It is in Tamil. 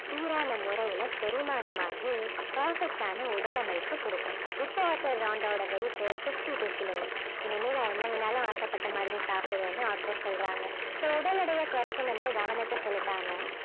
சீரான முறையில செரிமானம் ஆகி perfect ஆன உடலமைப்பை கொடுக்கும். இப்போ author ராண்டாவோட weight fifty two kilos இனிமே நான் என்ன வேணும்னாலும் ஆசைப்பட்ட மாதிரி சாப்பிடுவேன்னு author சொல்றாங்க so உடல் எடையை குறைக்கணும்னு கவனத்தை செலுத்தாம